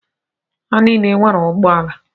Ha niile nwere ụgbọala.